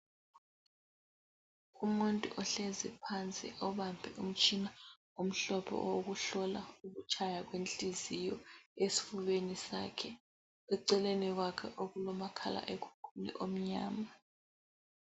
Umuntu ohlezi phansi obambe umtshina omhlophe owokuhlola ukutshaya kwenhliziyo esifubeni sakhe , eceleni kwakhe okulomakhalekhukhwini omnyama